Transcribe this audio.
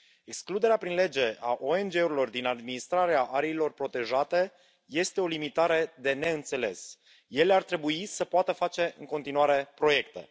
Excluderea prin lege a ONG urilor din administrarea ariilor protejate este o limitare de neînțeles, deoarece ele ar trebui să poată face în continuare proiecte.